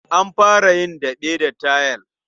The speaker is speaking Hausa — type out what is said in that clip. An fara yin daɓe da tayils.